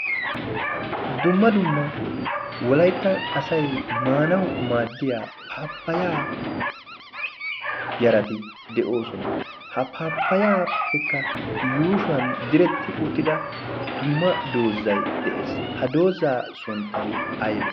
dumma dumma wolayttan asay maanawu maaddiya paappayaa yarati de'oosona ha paappayaappekka yuushuwan diretti uttida dumma doozzay de'ees ha doozzaa sunttay aybe